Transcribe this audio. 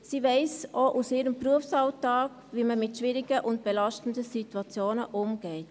Sie weiss aus ihrem Berufsalltag auch, wie man mit schwierigen und belastenden Situationen umgeht.